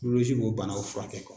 b'o banaw furakɛ